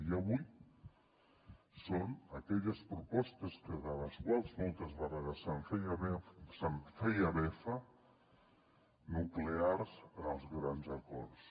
i avui són aquelles propostes de les quals moltes vegades se’n feia befa nuclears en els grans acords